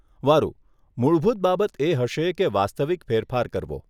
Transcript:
વારુ, મૂળભૂત બાબત એ હશે કે વાસ્તવિક ફેરફાર કરવો.